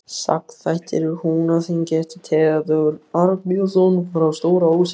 Sagnaþættir úr Húnaþingi eftir Theódór Arnbjörnsson frá Stóra-Ósi